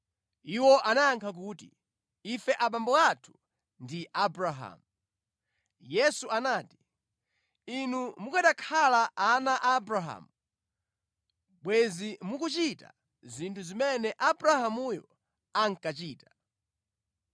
Iwo anayankha kuti, “Ife abambo athu ndi Abrahamu.” Yesu anati, “Inu mukanakhala ana a Abrahamu, bwenzi mukuchita zinthu zimene Abrahamuyo ankachita.